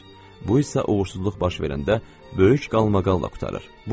Bu isə uğursuzluq baş verəndə böyük qalmaqalla qurtarır.